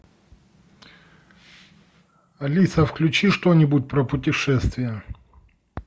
алиса включи что нибудь про путешествия